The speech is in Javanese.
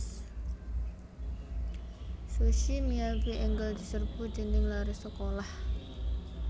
Sushi Miyabi enggal diserbu dening lare sekolah